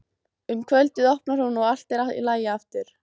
Um kvöldið opnar hún og allt er í lagi aftur.